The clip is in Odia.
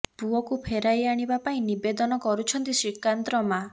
ପୁଅକୁ ଫେରାଇ ଆଣିବା ପାଇଁ ନିବେଦନ କରୁଛନ୍ତି ଶ୍ରୀକାନ୍ତର ମାଆ